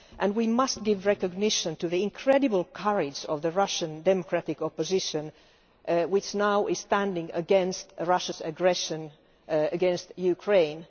We must give recognition to the incredible courage of the Russian democratic opposition, which is now standing against Russia's aggression against Ukraine.